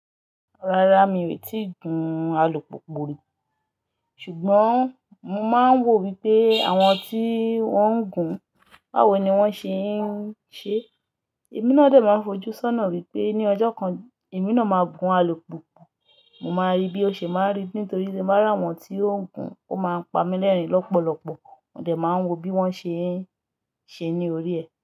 Rárá mi ò tíì gun alùpùpù rí, ṣùgbọ́n mo máa ń wò wípé àwọn tí wọ́n ń gun báwo ni wón ṣe ń ṣe. Ẹ̀mí náà dè máa ń fojú sọ́nà wípé ní ọjọ́ kan ẹ̀mí náà máa gun alùpùpù. Mo máa rí bí ó ṣe máa rí nítorí tí mo bá rà wọn tí ó ń gun, ó máa ń pa mi lẹ́rìn lọ́pọ̀lọpọ̀. Mò dé máa ń wo bí wón ṣe ń ṣe ní orí ẹ.